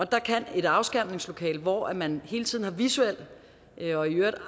der kan et afskærmningslokale hvor man hele tiden har visuel